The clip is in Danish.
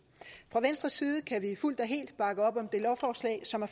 fra venstres side kan vi fuldt og helt bakke op om det lovforslag som er